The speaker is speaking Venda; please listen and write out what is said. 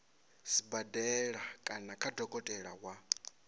sibadela kana kha dokotela wa